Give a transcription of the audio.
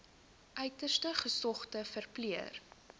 uiters gesogde verpleër